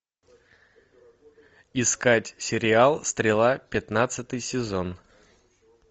искать сериал стрела пятнадцатый сезон